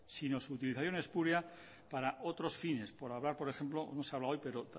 sino su utilización espúrea para otros fines por hablar por ejemplo no se habla hoy pero